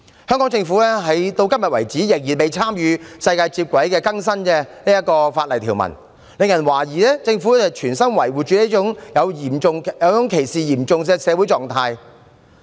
香港政府至今仍未與世界接軌，更新法例條文，令人懷疑政府存心維護這種嚴重歧視的社會狀態。